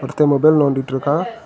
ஒருத்த மொபைல் நோண்டிட்டு இருக்கா.